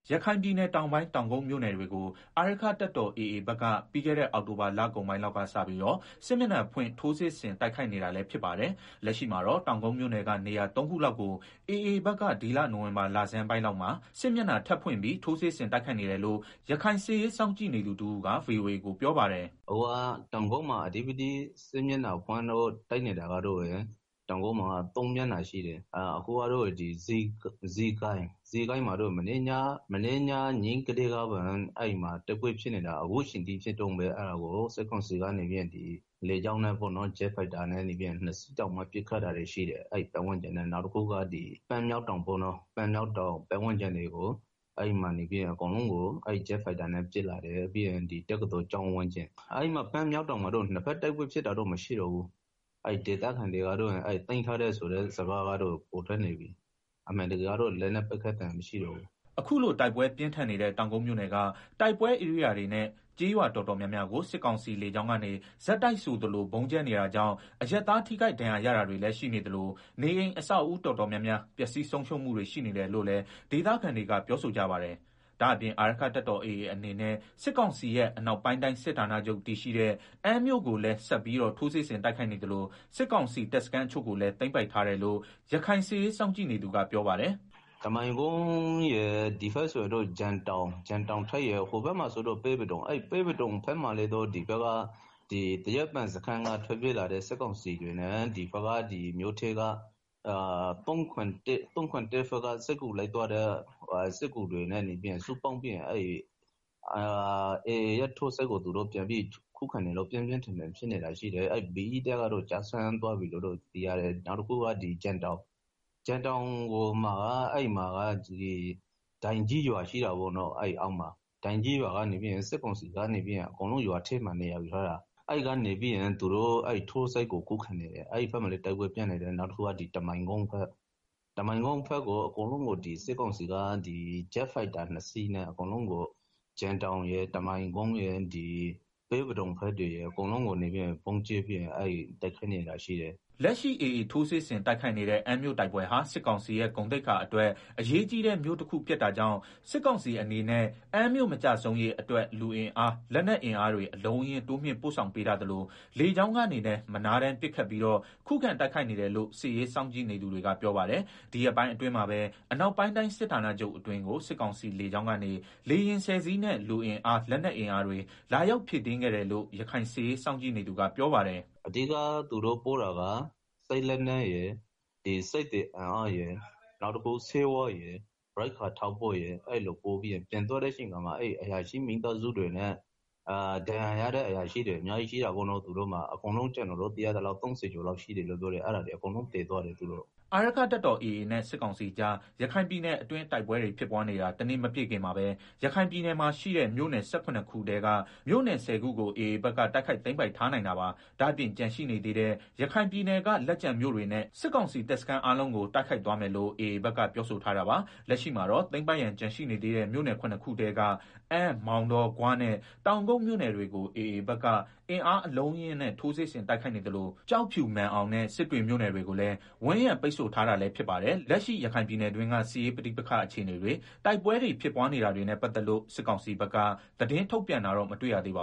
ရခိုင်ပြည်နယ်တောင်ပိုင်း တောင်ကုတ်မြို့နယ်တွေကို အာရက္ခတပ်တော် AA ဘက်က ပြီးခဲ့တဲ့ အောက်တိုဘာလကုန်ပိုင်းလောက်ကစပြီး စစ်မျက်နှာဖွင့် ထိုးစစ်ဆင်တိုက်ခိုက်နေပါတယ်။ လက်ရှိမှာတော့ တောင်ကုတ်မြို့နယ်က နေရာသုံးခုလောက်ကို AA ဘက်က ဒီလနိုဝင်ဘာလဆန်းပိုင်း AAဘက်က စစ်မျက်နှာ ထပ်ဖွင့်ပြီး ထိုးစစ်ဆင်တိုက်ခိုက်နေတယ်လို့ ရခိုင်စစ်ရေးစောင့်ကြည့်နေသူ တဦး က ဗွီအိုအေကို ပြောပါတယ်။ “အခုလက်ရှိ တောင်ကုတ်မှာ စစ်မျက်နှာဖွင့်လို့တိုက်နေတာက ၃ မျက်နှာရှိတယ်။ ဇီးကိုင်းမှာတော့ မနေ့က ညကနေတိုက်ပွဲတွေဖြစ်နေတာ အခုထိ ဖြစ်နေတုန်းပဲ။ စစ်ကောင်စီကတော့ ဂျက်ဖိုက်တာ နှစ်စီးနဲ့ လာပြီး ပစ်နေတယ်။ နောက်တခုကတော့ ပန်းမြောက်တောင်ပတ်ဝန်းကျင်တွေကို ဂျက်ဖိုက်တာနဲ့ ပစ်တယ်။ ပြီးတော့တက္ကသိုလ်ကျောင်းဝန်းကျင်။ပန်းမြောက်တောင်မှာတော့ နှစ်ဘက်တိုက်ပွဲဖြစ်တာမရှိတော့ဘူး၊ သိမ်းပိုက်ပြီလို့လည်း သတင်းထွက်နေတယ်။လက်နက်ပစ်သံတွေမရှိတော့ဘူး။” အခုလိုတိုက်ပွဲပြင်းထန်နေတဲ့ တောင်ကုတ်မြို့နယ်က တိုက်ပွဲဧရိယာတွေနဲ့ ကျေးရွာတော်တော် များများကို စစ်ကောင်စီလေကြောင်းကနေ ဆက်တိုက်ဆိုသလို ဗုံးကြဲနေတာကြောင့် အရပ်သားတွေ ထိခိုက်ဒဏ်ရာရတာရှိနေသလို နေအိမ်အဆောက်အဦးတော်တော်များများ ပျက်စီးဆုံးရှုံးမှုတွေ ရှိနေတယ်လို့လည်း ဒေသခံတွေက ပြောကြပါတယ်။ ဒါ့အပြင် အာရက္ခတပ်တော် AAအနေနဲ့ စစ်ကောင်စီရဲ့ အနောက်ပိုင်းတိုင်းစစ်ဌာနချုပ် တည်ရှိတဲ့ အမ်းမြို့ ကိုလည်းဆက်လက်ပြီးတော့ ထိုးစစ်ဆင်တိုက်ခိုက်နေသလို စစ်ကောင်စီတပ်စခန်း တချို့ကိုလည်း သိမ်းပိုက်ထားတယ်လို့ ရခိုင်စစ်ရေးစောင့်ကြည့်နေသူ ကပြောပါတယ်။ “တမိုင်ကုန်းရယ်၊ ဒီဘက်ဆိုရင်တော့ ဂျင်တောင်ရယ်၊ ဟိုဘက်မှာဆိုရင်တော့ ပဲပဒုံဘက်မှာလည်း သရက်ပင်စခန်းကထွက်ပြေးလာတဲ့ စစ်ကောင်စီတပ်ဖွဲ့ဝင်တွေနဲ့ ၃၇၁ ဘက်က စစ်ကူလိုက်သွားတဲ့ သူတွေနဲ့ ပူးပေါင်းပြီးတော့ AA ထိုးစစ်ကို ပြန်ပြီးတော့ ခုခံနေလို့ တိုက်ပွဲပြင်းထန်နေတယ်။ BE တပ်ကတော့ ကျသွားပြီလို့ သိရတယ်။ ပြီးတော့ ဂျင်တောင်အနီးက ဒိုင်ကြီးရွာမှာ စစ်ကောင်စီက နေရာယူထားပြီးတော့ ခုခံနေတယ်။ အဲဘက်မှာလည်း တိုက်ပွဲပြင်းထန်နေတယ်။နောက်တခုက စစ်ကောင်စီက ဂျက်ဖိုက်တာနှစ်စီးနဲ့ ဂျင်တောင်ရယ်၊ တမိုင်ကုန်းရယ်၊ ပဲပဒုံဘက်တွေရယ် အကုန်လုံးကိုဗုံးကြဲပြီးတော့ တိုက်ခိုက်နေတာရှိတယ်။” လက်ရှိ AA ထိုးစစ်ဆင်တိုက်ခိုက်နေတဲ့ အမ်းမြို့ဟာ စစ်ကောင်စီရဲ့ ဂုဏ်သိက္ခာအတွက် အရေးကြီးတဲ့ မြို့ဖြစ်တာကြောင့် စစ်ကောင်စီအနေနဲ့ အမ်းမြို့မကျဆုံးရေးအတွက် လူအင်အား၊ လက်နက်အင်အား အလုံးအရင်း တိုးမြှင့်ပို့ဆောင်ပေးထားသလို လေကြောင်းကနေလည်း မနားတမ်းပစ်ခတ်ပြီး ခုခံတိုက်ခိုက်နေတယ်လို့ စစ်ရေးစောင့်ကြည့်သူတွေ ကပြောပါတယ်။ ဒီရက်ပိုင်းအတွင်းမှာပဲ အနောက်ပိုင်းတိုင်းစစ်ဌာနချုပ်အတွင်းကို စစ်ကောင်စီလေကြောင်းကနေ လေယာဉ်ဆယ်စီးလောက်နဲ့ လူအင်အား၊ လက်နက်အင်အားတွေ လာရောက်ဖြည့်တင်းခဲ့တယ်လို့ ရခိုင်စစ်ရေး စောင့်ကြည့်နေသူကပြောပါတယ်။ “အဓိက သူတို့ပို့တာက စစ်လက်နက်ရယ်၊ စစ်သည်အင်အားရယ်၊ ဆေးဝါးရယ်၊ ရိက္ခာထောက်ပို့ရယ် အဲလိုပို့ပြီးတော့ပြန်သွားတဲ့အချိန်မှာ အရာရှိမိသားစုတွေနဲ့ ဒဏ်ရာရထားတဲ့အရာရှိတွေ အများကြီး ရှိတယ်ပေါ့နော်။ ကျနော်သိရသလောက်ဆိုရင် ၃ဝ လောက်ရှိတယ်လို့ သိရတယ်။ အဲဒါတွေကို အကုန်ပြန်ပြီးတော့ သယ်သွားတယ်။” အာရက္ခတပ်တော် AA နဲ့စစ်ကောင်စီကြား ရခိုင်ပြည်နယ်အတွင်း တိုက်ပွဲတွေဖြစ်နေတာ တနှစ် မပြည့်ခင်မှာပဲရခိုင်ပြည်နယ်ရဲ့ မြို့နယ် ၁၇ ခုထဲက မြို့နယ် ၁ဝ ခုကို AA ဘက်က တိုက်ခိုက် သိမ်းပိုက်ထားနိုင်တာပါ။ ဒါ့အပြင်ကျန်ရှိနေသေးတဲ့ ရခိုင်ပြည်နယ်က လက်ကျန်မြို့တွေနဲ့ စစ်ကောင်စီတပ်စခန်းအားလုံးကို တိုက်ခိုက်သွားမယ်လို့ AAဘက်က ပြောထားပါတယ်။ လက်ရှိမှာတော့ သိမ်းပိုက်ဖို့ကျန်နေသေးတဲ့ မြို့နယ် ၇ ခုထဲက အမ်း၊ မောင်တော၊ ဂွနဲ့ တောင်ကုတ် မြို့နယ်တွေကို AAဘက်က အင်အားအလုံးအရင်းနဲ့ ထိုးစစ်ဆင်တိုက်ခိုက်နေသလို ကျောက်ဖြူ၊ မာန်အောင်နဲ့ စစ်တွေမြို့နယ်တွေကိုလည်းဝိုင်းရံပိတ်ဆို့ထားတာလည်းဖြစ်ပါတယ်။ လက်ရှိ ရခိုင်ပြည်နယ်တွင်းက စစ်ရေးပဋိပက္ခအခြေအနေတွေ၊ တိုက်ပွဲတွေဖြစ်နေတာတွေနဲ့ပတ်သက်လို့ စစ်ကောင်စီဘက်က သတင်းထုတ်ပြန်တာ မတွေ့ရသေးပါ